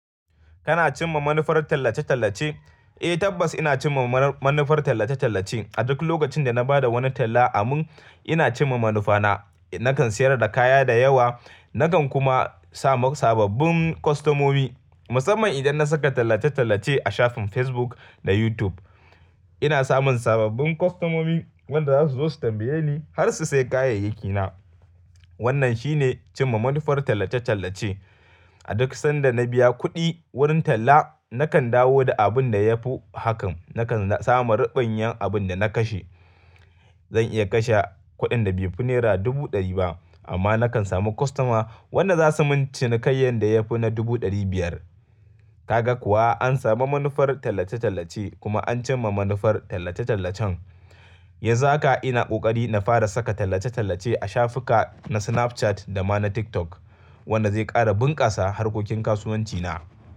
Kana cimma manufar tallace-tallace? Eh tabbas ina cimma manufar tallace-tallace. A duk lokacin da na ba da wani talla a mun, ina cimma manufa na. Nakan siyar da kaya da yawa, nakan kuma samu sababbin kwastomomi musamman idan na saka tallace-tallace a shafin Facebook da YouTube. Ina samun sababbin kwastomomi wanda za su zo su tambaye ni har su sayi kayayyaki na. Wannan shine cimma manufar tallace-tallace. A duk sanda na biya kuɗi wurin talla nakan dawo da abun da ya fi hakan. Nakan samu ribanya abun da na kashe. Zan iya kashe kuɗin da bai fi naira dubu ɗari ba amma nakan samu kwastoma wanda zasu mun cinikayan da ya fi na dubu ɗari biyar. Kaga kuwa an samu manufar tallace-tallace kuma an cimma manufar tallace-tallacen. Yanzu haka ina ƙoƙari na fara saka tallace-tallace a shafuka na Snapchat da ma na TikTok wanda zai ƙara bunƙasa harkokin kasuwanci na.